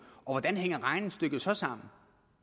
og hvordan hænger regnestykket så sammen